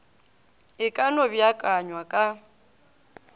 e ka no beakanywa ka